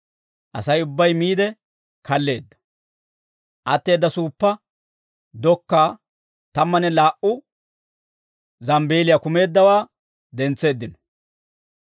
Asay ubbay miide kalleedda; atteedda suuppa dokkaa tammanne laa"u zambbeeliyaa kumeeddawaa dentseeddino.